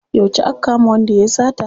Yauce aka kama wanda yayi sata?